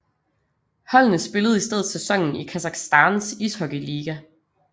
Holdene spillede i stedet sæsonen i Kasakhstans ishockeyliga